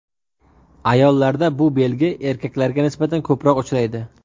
Ayollarda bu belgi erkaklarga nisbatan ko‘proq uchraydi.